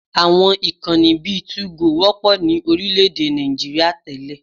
Àwọn ìkànnì bíi 2go wọ́pọ̀ ní orílẹ̀-èdè Nigeria tẹ́lẹ̀